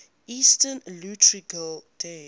eastern orthodox liturgical days